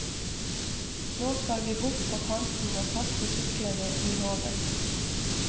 Nå skal vi bort på kanten og kaste syklene i havet.